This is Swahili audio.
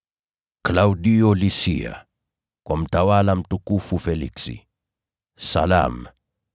Klaudio Lisia, Kwa Mtawala, Mtukufu Feliksi: Salamu.